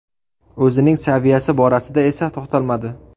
O‘zining saviyasi borasida esa to‘xtalmadi.